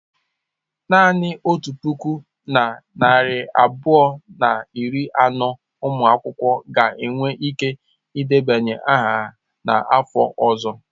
Naanị otu puku na narị abụọ na iri anọ ụmụ akwụkwọ ga-enwe ike ịdebanye aha n'afọ ọzọ.